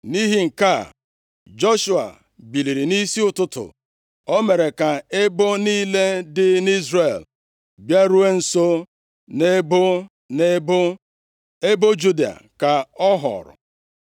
Nʼihi nke a, Joshua biliri nʼisi ụtụtụ. O mere ka ebo niile dị nʼIzrel bịaruo nso nʼebo nʼebo, ebo Juda ka a họọrọ.